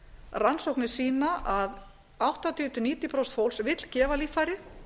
rannsóknir sýna a áttatíu níutíu prósent fólks vill gefa líffæri